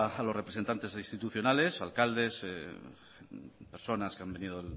a los representantes institucionales alcaldes personas que han venido